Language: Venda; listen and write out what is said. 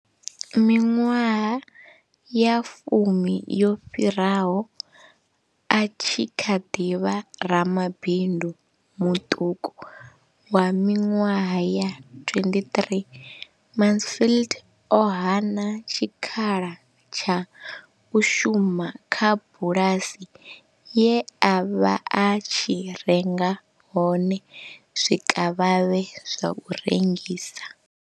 Miṅwaha ya fumi yo fhiraho, a tshi kha ḓi vha ramabindu muṱuku wa miṅwaha ya 23, Mansfield o hana tshikhala tsha u shuma kha bulasi ye a vha a tshi renga hone zwikavhavhe zwa u rengisa.